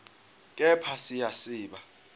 kepha siya siba